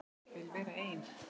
Vil vera ein.